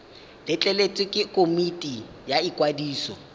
letleletswe ke komiti ya ikwadiso